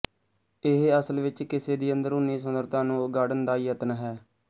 ਇਹ ਅਸਲ ਵਿੱਚ ਕਿਸੇ ਦੀ ਅੰਦਰੂਨੀ ਸੁੰਦਰਤਾ ਨੂੰ ਉਗਾੜਨ ਦਾ ਯਤਨ ਹੈ